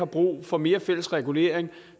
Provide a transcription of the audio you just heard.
brug for mere fælles regulering